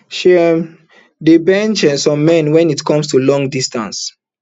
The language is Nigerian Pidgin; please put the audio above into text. she um dey bench um some men wen it come to long distance